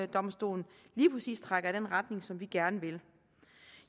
domstolen lige præcis trækker i den retning som vi gerne vil